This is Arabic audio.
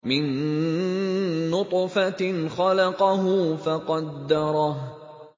مِن نُّطْفَةٍ خَلَقَهُ فَقَدَّرَهُ